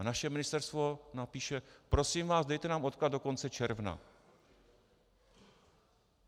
A naše ministerstvo napíše: Prosím vás, dejte nám odklad do konce června.